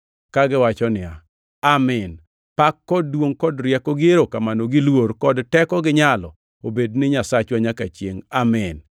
Kagiwacho niya, “Amin! Pak gi duongʼ kod rieko gi erokamano gi luor kod teko gi nyalo obed ni Nyasachwa, nyaka chiengʼ. Amin!”